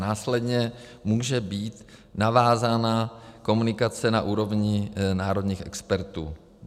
Následně může být navázána komunikace na úrovni národních expertů.